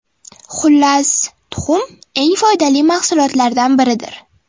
Xullas, tuxum eng foydali mahsulotlardan biridir.